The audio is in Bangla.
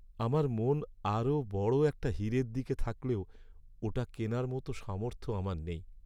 আমার মন আরও বড় একটা হীরের দিকে থাকলেও ওটা কেনার মতো সামর্থ্য আমার নেই।